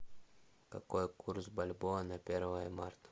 какой курс бальбоа на первое марта